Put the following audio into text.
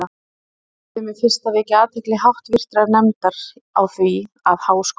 Ég leyfi mér fyrst að vekja athygli háttvirtrar nefndar á því, að Háskóli